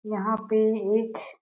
यहाँ पे एक --